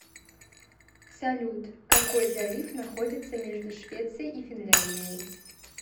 салют какой залив находится между швецией и финляндией